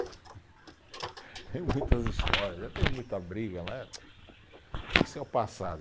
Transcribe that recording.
Tem muitas histórias, já teve muita briga, isso é o passado.